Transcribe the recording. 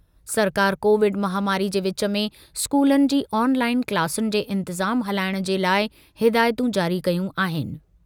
सरकार कोविड महामारी जे विच में स्कूलनि जी ऑनलाइन क्लासुनि जे इंतिज़ाम हलाइणु जे लाइ हिदायतूं जारी कयूं आहिनि।